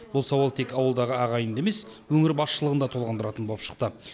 бұл сауал тек ауылдағы ағайынды емес өңір басшылығын да толғандыратын боп шықты